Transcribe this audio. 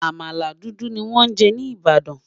àmàlà dúdú ní wón jé ní ibadan